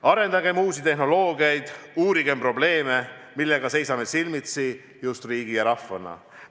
Arendagem uusi tehnoloogiaid, uurigem probleeme, millega seisame silmitsi just riigi ja rahvana.